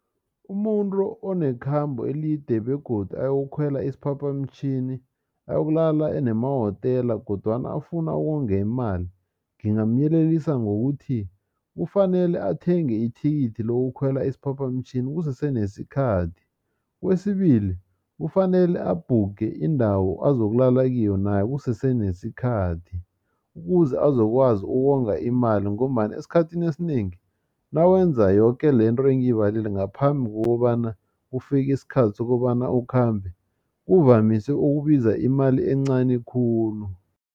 Umuntu onekhambe elide begodu ayokukhwela isiphaphamtjhini ayokulala nemawotela kodwana afuna ukonga imali ngingamyelelisa ngokuthi kufanele athenge ithikithi lokukhwela isiphaphamtjhini kusese nesikhathi. Kwesibili kufanele abhukhe indawo azokulala kiyo nayo kusese nesikhathi ukuze azokwazi ukonga imali ngombana esikhathini esinengi nawenza yoke lento engiyibalile ngaphambi kokobana kufike isikhathi sokobana ukhambe kuvamise ukubiza imali encani khulu.